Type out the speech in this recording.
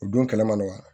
U don kɛlɛ man nɔgɔ